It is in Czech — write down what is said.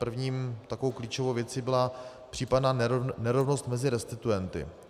První takovou klíčovou věcí byla případná nerovnost mezi restituenty.